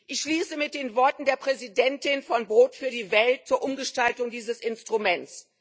Ich schließe mit den Worten der Präsidentin von Brot für die Welt zur Umgestaltung dieses Instruments.